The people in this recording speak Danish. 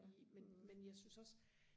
i men men jeg synes også